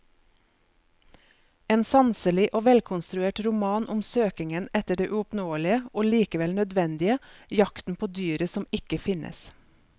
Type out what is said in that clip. En sanselig og velkonstruert roman om søkingen etter det uoppnåelige og likevel nødvendige, jakten på dyret som ikke finnes.